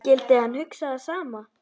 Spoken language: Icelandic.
Skyldi hann hugsa það sama?